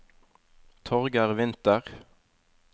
Torgeir Winther